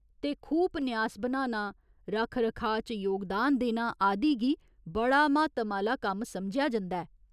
ते खूह् पन्यास बनाना, रक्ख रखाऽ च योगदान देना आदि गी बड़ा म्हातम आह्‌ला कम्म समझेआ जंदा ऐ।